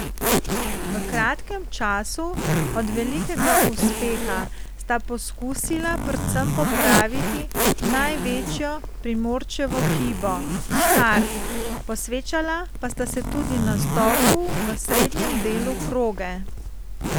V kratkem času od velikega uspeha sta poskusila predvsem popraviti največjo Primorčevo hibo, štart, posvečala pa sta se tudi nastopu v srednjem delu proge.